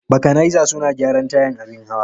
Bakanaiza suna gyaran tayan abin hawa.